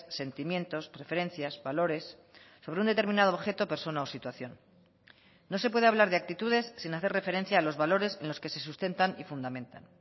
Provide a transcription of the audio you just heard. sentimientos preferencias valores sobre un determinado objeto persona o situación no se puede hablar de actitudes sin hacer referencia a los valores en los que se sustentan y fundamentan